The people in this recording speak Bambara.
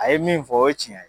A ye min fɔ o ye cɛn ye